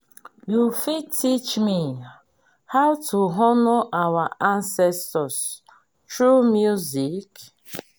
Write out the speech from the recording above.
you fit teach me how to honour our ancestors through music?